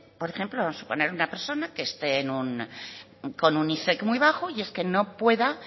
por ejemplo vamos a poner a una persona que esté con un muy bajo y es que no pueda